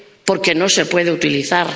Porque no se puede utilizar.